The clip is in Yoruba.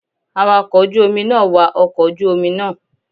Awakọ̀ ojú Omi náà wa ọkọ̀ ojú Omi naa